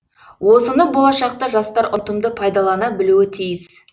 осыны болашақта жастар ұтымды пайдалана білуі тиіс